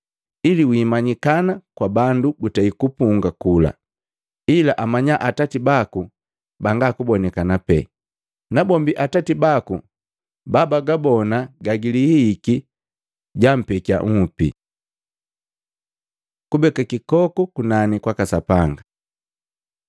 ili wiimanyikana kwa bandu gutei kupunga kula, ila amanya Atati baku banga kubonikana pee. Nabombi Atati baku babagabona gagilihihiki, jampekia nhupi. Kubeka kikoku kunani kwaka Sapanga kwaka Sapanga Luka 12:33, 34